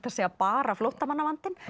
að segja bara flóttamannavandinn